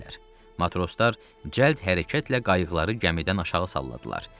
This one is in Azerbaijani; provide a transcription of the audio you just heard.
Matroslar cəld hərəkətlə qayıqları gəmidən aşağı salladılar.